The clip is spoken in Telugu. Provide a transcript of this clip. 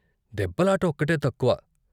దెబ్బలాట ఒక్కటే తక్కువ.